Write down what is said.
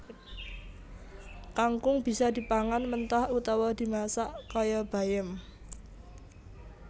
Kangkung bisa dipangan mentah utawa dimasak kaya bayem